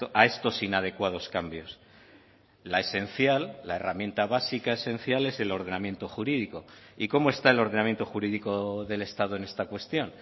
a estos inadecuados cambios la esencial la herramienta básica esencial es el ordenamiento jurídico y cómo está el ordenamiento jurídico del estado en esta cuestión